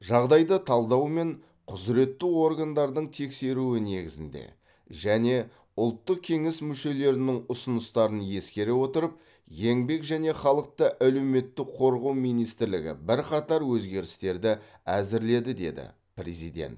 жағдайды талдау мен құзыретті органдардың тексеруі негізінде және ұлттық кеңес мүшелерінің ұсыныстарын ескере отырып еңбек және халықты әлеуметтік қорғау министрлігі бірқатар өзгерістерді әзірледі деді президент